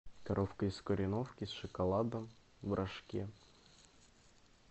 коровка из кореновки с шоколадом в рожке